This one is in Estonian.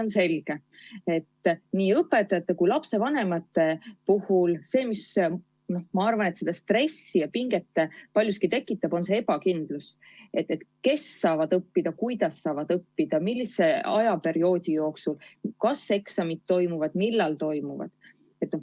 Ma arvan, et nii õpetajates kui lapsevanemates tekitab paljuski stressi ja pinget just ebakindlus: kes kuidas õppida saavad, millise perioodi jooksul, kas eksamid toimuvad ja kui toimuvad, siis millal.